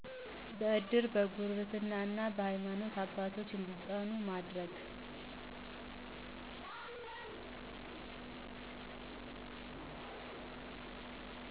በእድር፣ በጉርብትና እና በሀይማኖት አባቶች እንዲፅናኑ ማድረግ